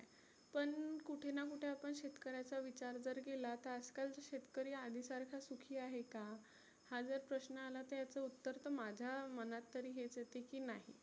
पण कुठेना कुठे आपण शेतकऱ्याचा विचार जर केला तर आज कालचे शेतकरी आधी सारखा सुखी आहे का? हा जर प्रश्न आला याचं उत्तर तर माझा मनात तरी हेच येतं की नाही.